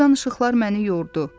Bu danışıqlar məni yordu.